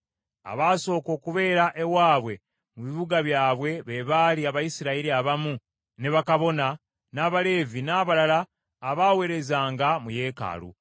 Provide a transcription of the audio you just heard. Abaasooka okubeera ewaabwe mu bibuga byabwe be baali Abayisirayiri abamu, ne bakabona, n’Abaleevi, n’abalala abaaweerezanga mu yeekaalu.